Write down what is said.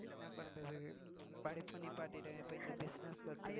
என்ன பண்றது படிப்ப நிப்பாட்டிட்டாங்க இப்ப இந்த business